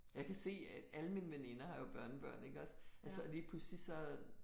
Jeg kan se at alle mine veninder har jo børnebørn iggås altså og lige pludselig så